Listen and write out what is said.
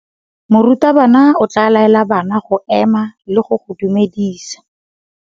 Morutabana o tla laela bana go ema le go go dumedisa.